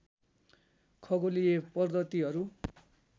खगोलीय पद्धतिहरू